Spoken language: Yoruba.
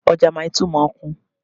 Ọjà Maili2 máa ń kún